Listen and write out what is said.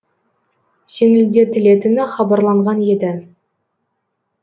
жеңілдетілетіні хабарланған еді